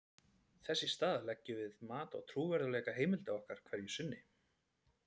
þess í stað leggjum við mat á trúverðugleika heimilda okkar hverju sinni